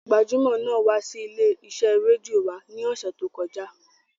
Gbajúmọ̀ náà wá sí ilé-iṣẹ́ rédíò wa ní ọ̀sẹ̀ tí ó kọjá.